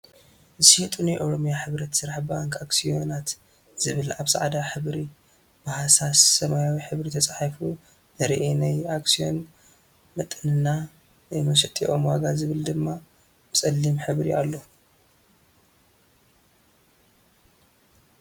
ዝሽየጡ ናይ ኦሮምያ ሕብረት ስራሕ ባንክ ኣክስዮናት ዝብል አብ ፃዕዳ ሕብሪ ብሃሳስ ሰማያዊ ሕብሪ ተፃሒፋ ንርኢ ናይ ኣክስዮን መጠንና ናይ መሸጢኦም ዋጋ ዝብል ድማ ብፀሊም ሕብሪ ኣሎ።